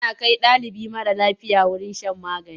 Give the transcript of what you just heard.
Ana kai ɗalibi mara lafiya wurin shan magani.